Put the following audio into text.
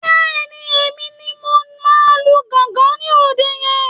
Bẹ́ẹ̀ni, Èmi ni mo máa lu gángan ní òde yẹn